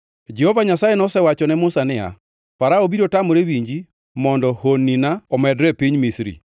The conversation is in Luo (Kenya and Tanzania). Jehova Nyasaye nosewacho ni Musa niya, “Farao biro tamore winji mondo honnina omedre piny e Misri.”